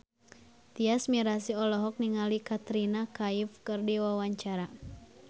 Tyas Mirasih olohok ningali Katrina Kaif keur diwawancara